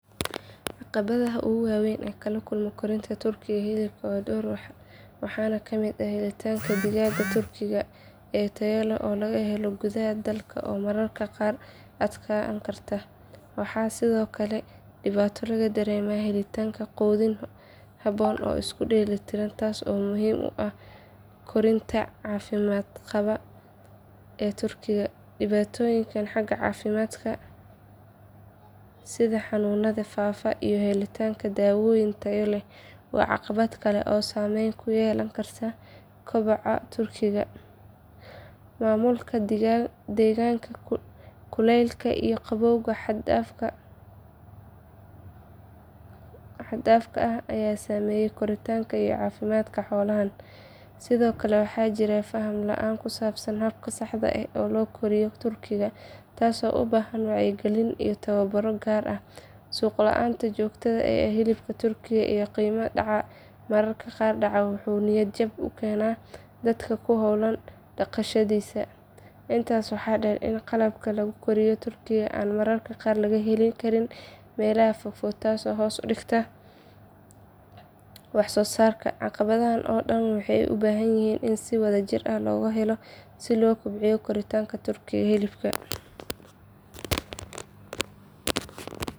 Caqabadaha ugu waaweyn ee laga kulmo korinta turkiga hilibka waa dhowr waxaana ka mid ah helitaanka digaagga turkiga ee tayo leh oo laga helo gudaha dalka oo mararka qaar adkaan karta. Waxaa sidoo kale dhibaato laga dareemaa helitaanka quudin habboon oo isku dheelli tiran taas oo muhiim u ah korriinka caafimaad qaba ee turkiga. Dhibaatooyinka xagga caafimaadka sida xanuunada faafa iyo helitaanka dawooyin tayo leh waa caqabad kale oo saameyn ku yeelan karta koboca turkiga. Maamulka deegaanka, kuleylka iyo qabowga xad dhaafka ah, ayaa saameeya koritaanka iyo caafimaadka xoolahan. Sidoo kale waxaa jirta faham la’aan ku saabsan habka saxda ah ee loo koriyo turkiga, taasoo u baahan wacyigelin iyo tababarro gaar ah. Suuq la’aanta joogtada ah ee hilibka turkiga iyo qiimo dhaca mararka qaar dhacaa wuxuu niyad jebin ku keenaa dadka ku howlan dhaqashadiisa. Intaas waxaa sii dheer in qalabka lagu koriyo turkiga aan mararka qaar laga heli karin meelaha fogfog taasoo hoos u dhigta wax soo saarka. Caqabadahan oo dhan waxay u baahan yihiin in si wadajir ah xal loogu helo si loo kobciyo korinta turkiga hilibka.